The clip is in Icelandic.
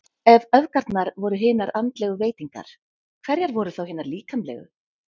Ef öfgarnar voru hinar andlegu veitingar, hverjar voru þá hinar líkamlegu?